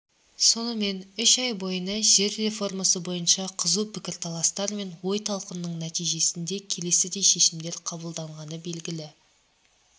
сонымен үш ай бойына жер реформасы бойынша қызу пікірталастар мен ой-талқының нәтижесінде келесідей шешімдер қабылданғаны белгілі